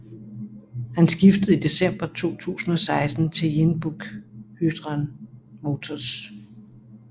Han skiftede i december 2016 til Jeonbuk Hyundai Motors